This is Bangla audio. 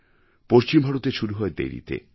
পশ্চিম ভারতে শুরু হয় দেরিতে